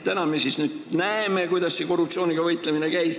Nüüd me siis näeme, kuidas see korruptsiooniga võitlemine käis.